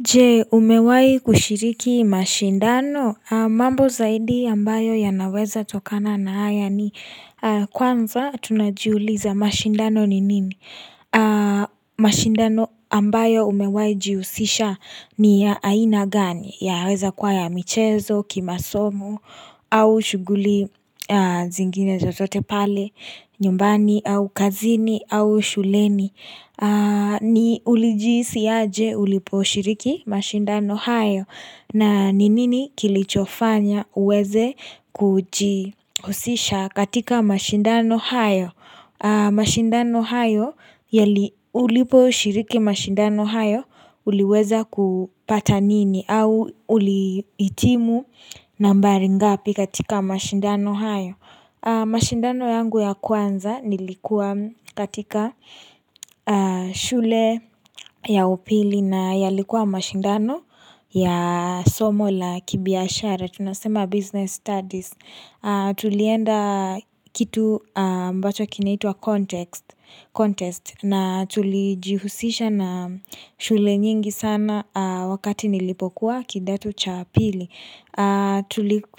Je, umewahi kushiriki mashindano. Mambo zaidi ambayo yanaweza tokana na haya ni kwanza tunajiuliza mashindano ni nini? Mashindano ambayo umewahi jihusisha ni ya aina gani? Yanaweza kuwa ya michezo, kimasomo, au shughuli zingine zotote pale, nyumbani, au kazini, au shuleni. Ni ulijihisi aje ulipo shiriki mashindano hayo na ni nini kilichofanya uweze kujihusisha katika mashindano hayo mashindano hayo ulipo ushiriki mashindano hayo Uliweza kupata nini au ulihitimu nambari ngapi katika mashindano hayo mashindano yangu ya kwanza nilikuwa katika shule ya upili na yalikuwa mashindano ya somo la kibiashara, tunasema business studies. Tulienda kitu ambacho kinaitwa contest na tulijihusisha na shule nyingi sana wakati nilipokuwa kidato cha pili.